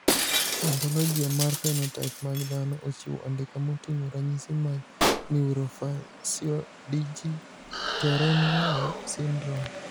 Ontologia mar phenotype mag dhano ochiwo andika moting`o ranyisi mag Neurofaciodigitorenal syndrome..